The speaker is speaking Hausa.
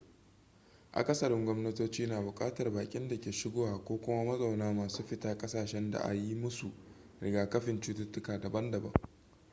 akasariin gwamnatoci na bukatar bakin dake shigowa ko kuma mazauna masu fita kasashensu da a yi musu rigakafin cuttutuka daban-daban